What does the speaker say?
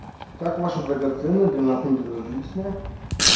как ваша драгоценная для нас не безразлична